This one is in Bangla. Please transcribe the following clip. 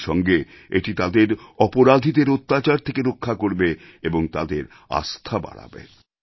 একই সঙ্গে এটি তাদেরঅপরাধীদের অত্যাচার থেকে রক্ষা করবে এবং তাদের আস্থা বাড়াবে